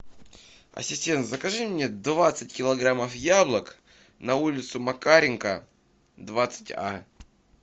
ассистент закажи мне двадцать килограммов яблок на улицу макаренко двадцать а